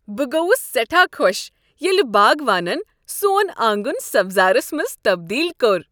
بہٕ گوٚوس سٮ۪ٹھاہ خۄش ییٚلہ باگوانن سون آنگن سبزارس منٛز تبدیل کوٚر۔